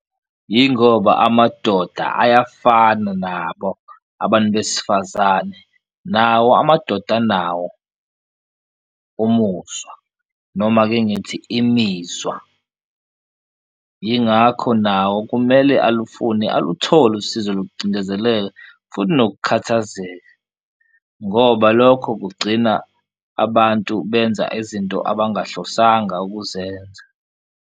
Yingoba amadoda ayafana nabo abantu besifazane nawo amadoda anawo umuzwa noma ake ngithi imizwa, yingakho nawo kumele alufune aluthole usizo lokucindezeleka futhi nokukhathazeka, ngoba lokho kugcina abantu benza izinto abangahlosanga ukuzenza.